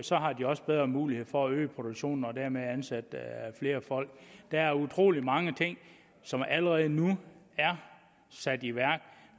så har de også bedre muligheder for at øge produktionen og dermed ansætte flere folk der er utrolig mange ting som allerede nu er sat i værk